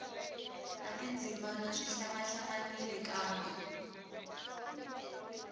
na tindzimana swi hlangahlanganile kambe